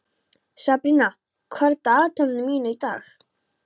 Sabrína, hvað er í dagatalinu mínu í dag?